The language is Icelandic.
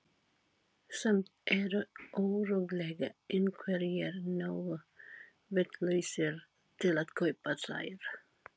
Samt eru örugglega einhverjir nógu vitlausir til að kaupa þær.